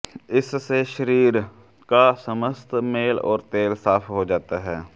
इससे शरीर का समस्त मेल और तेल साफ हो जाता है